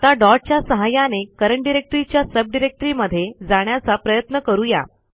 आता डॉट च्या सहाय्याने करंट डायरेक्टरी च्या सबडिरेक्टरीमध्ये जाण्याचा प्रयत्न करू या